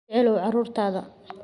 Jeclow carruurtaada.